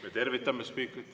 Me tervitame spiikrit.